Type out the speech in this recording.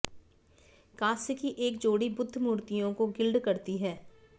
कांस्य की एक जोड़ी बुद्ध मूर्तियों को गिल्ड करती है